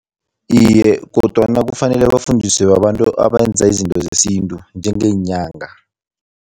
Iye, kodwana kufanele bafundiswe babantu abenza izinto zesintu, njengeenyanga.